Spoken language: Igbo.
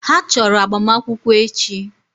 Ha chọrọ agbamakwụkwọ echi.